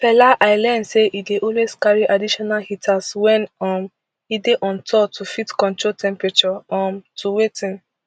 fela i learn say e dey always carry additional heaters wen um e dey on tour to fit control temperature um to wetin